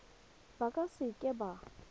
ba ka se ka ba